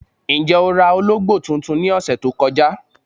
Njẹ́ o rà òlógbo tuntun ní ọṣẹ̀ tó kọ̀jà?